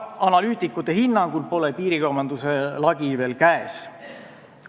Analüütikute hinnangul pole piirikaubanduse lagi veel käes.